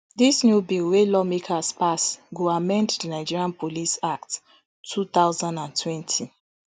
dis new bill wey lawmakers pass go amend di nigeria police act two thousand and twenty